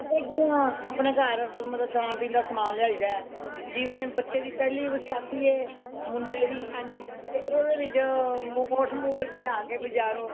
ਕਰਦੇ ਕਿ ਹੈ ਅਪਣੇ ਘਰ ਮਤਲਬ ਖਾਨ ਪੀਣ ਦਾ ਸਮਾਨ ਲਿਆਈਦਾ ਜਿਵੇਂ ਬੱਚੇ ਦੀ ਪਹਿਲੀ ਵਸਾਖ਼ੀ ਮੁੰਡੇ ਦੀ ਓਹਦੇ ਵਿੱਚ ਮੋਠ ਮੁੱਠ ਲਿਆ ਕੇ ਬਜਾਰੋਂ